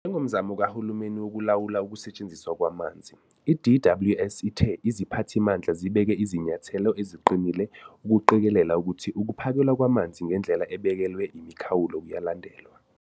Njengomzamo kahulumeni wokulawula ukusetshenziswa kwamanzi, i-DWS ithe iziphathimandla zibeke izinyathelo eziqinille ukuqikelela ukuthi ukuphakelwa kwamanzi ngendlela ebekelwe imikhawulo kuyalandelwa.